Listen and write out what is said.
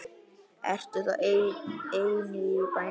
Ertu þá ein í bænum?